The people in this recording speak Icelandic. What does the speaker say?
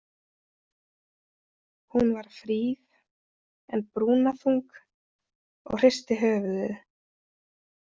Hún var fríð en brúnaþung og hristi höfuðið.